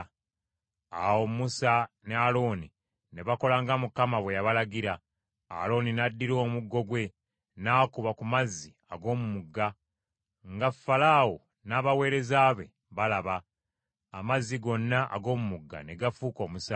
Awo Musa ne Alooni ne bakola nga Mukama bwe yabalagira. Alooni n’addira omuggo gwe n’akuba ku mazzi ag’omu mugga, nga Falaawo n’abaweereza be balaba; amazzi gonna ag’omu mugga ne gafuuka omusaayi.